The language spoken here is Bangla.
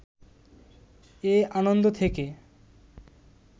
এ আনন্দ থেকে